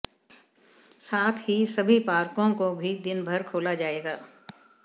साथ ही सभी पार्को को भी दिनभर खोला जाएगा